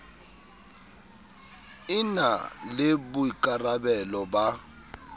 e na le boikarabelo ba